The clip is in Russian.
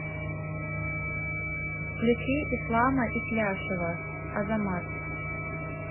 включи ислама итляшева азамат